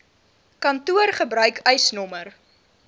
kantoor gebruik eisnr